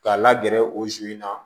K'a la gɛrɛ o in na